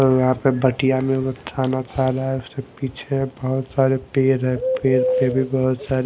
और यहां पर बटियाँ में खाना खा रहा है उसके पीछे है बहोत सारे पेड़ है पेड़ पे भी बहोत सारे --